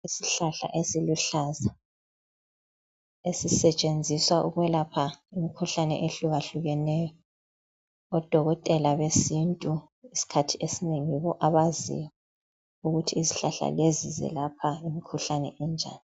Isihlahla esiluhlaza esisetshenziswa ukwelapha imkhuhlane ehlukahlukeneyo odokotela besintu iskhathi esinengi yibo abaziyo ukuthi izihlahla lezi zelapha imikhuhlane enjani.